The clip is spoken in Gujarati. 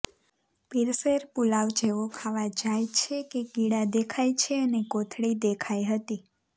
પીરસેલ પુલાવ જેવો ખાવા જાય છે કે કીડા દેખાય છે અને કોથળી દેખાઇ હતી